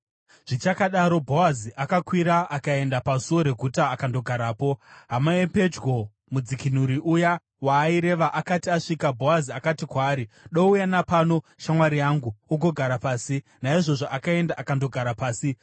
Zvichakadaro, Bhoazi akakwira akaenda pasuo reguta akandogarapo. Hama yapedyo mudzikinuri uya waaireva akati asvika, Bhoazi akati kwaari, “Douya napano, shamwari yangu, ugogara pasi.” Naizvozvo akaenda akandogara pasi.